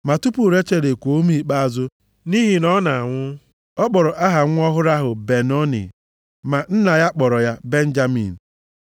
Ma tupu Rechel ekuo ume ikpeazụ, nʼihi na ọ na-anwụ, ọ kpọrọ aha nwa ọhụrụ ahụ Ben-Oni, ma nna ya kpọrọ ya Benjamin.